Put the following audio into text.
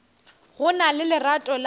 go na le lerato la